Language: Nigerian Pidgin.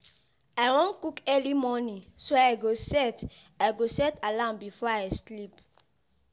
I wan cook early morning so I go set i go set alarm before I sleep.